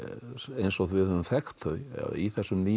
eins og við höfum þekkt þau í þessum nýju